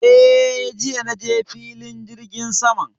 Eh, jiya na je filin jirgin saman